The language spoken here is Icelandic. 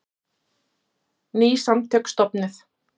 Ný samtök stofnuð